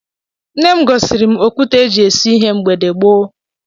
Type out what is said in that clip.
Nne m gosiri m okwute e ji esu ihe mgbe gboo